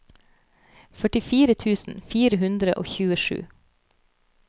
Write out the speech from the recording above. førtifire tusen fire hundre og tjuesju